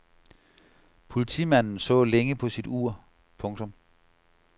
Politimanden så længe på sit ur. punktum